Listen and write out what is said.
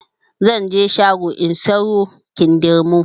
Zanje shago in sayo kindirmo